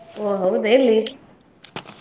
ಓ ಹೌದ ಎಲ್ಲಿ? .